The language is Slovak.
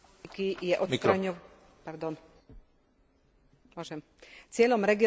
Cieľom regionálnej politiky je odstraňovanie hospodárskych a sociálnych rozdielov.